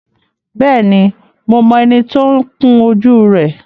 Bẹ́ẹ̀ni, mo mọ ẹni tí ó ń kun jú rẹ